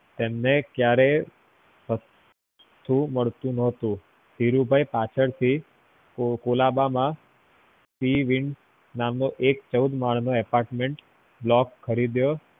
એમને ક્યારે મળતું નોતું ધીરુભાઈ પાછળથી colaba માં sea wing નામક એક ચૌદ માળ નો apartment block ખરીદ્યો